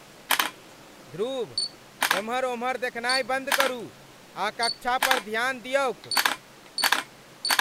ध्रुव, एम्हर उम्हर देखनाय बन्द करू आ कक्षा पर ध्यान दियौक!